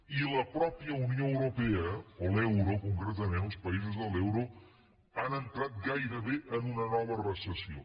i la mateixa unió europea o l’euro concretament els països de l’euro han entrat gairebé en una nova recessió